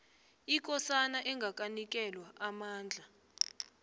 ikosana engakanikelwa amandla